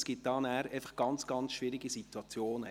Dies führt dann zu sehr schwierigen Situationen.